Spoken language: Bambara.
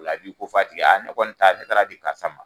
O la a b'i ko f'a tigɛ ye , aa ne kɔni taara ne taara di karisa ma.